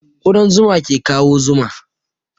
Ƙudan zuma ke kawo zuma